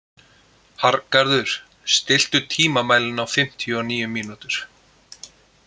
Arngarður, stilltu tímamælinn á fimmtíu og níu mínútur.